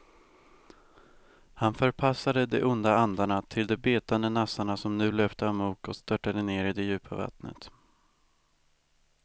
Han förpassade de onda andarna till de betande nassarna som nu löpte amok och störtade ner i det djupa vattnet.